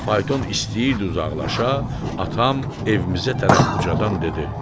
Və fayton istəyirdi uzaqlaşa, atam evimizə tərəf ucadan dedi.